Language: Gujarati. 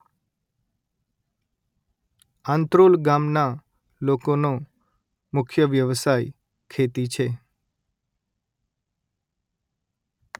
આંત્રોલ ગામના લોકોનો મુખ્ય વ્યવસાય ખેતી છે